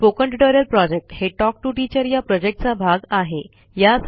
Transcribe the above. spoken tutorial project हे talk to teacher या प्रॉजेक्टचा भाग आहे